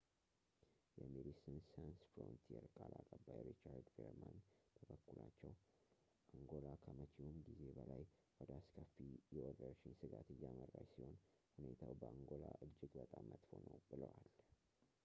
የሜዲሲንስ ሳንስ ፍሮንቲር ቃል አቀባይ ሪቻርድ ቬርማን በበኩላቸው አንጎላ ከመቼውም ጊዜ በላይ ወደ አስከፊ የወረርሽኝ ስጋት እያመራች ሲሆን ሁኔታው በአንጎላ እጅግ በጣም መጥፎ ነው ብለዋል